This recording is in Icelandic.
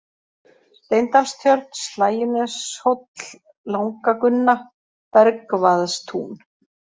Steindalstjörn, Slægjuneshóll, Langagunna, Bergvaðstún